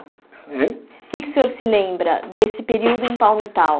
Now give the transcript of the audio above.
Hein O que é que o senhor se lembra desse período em Palmitau?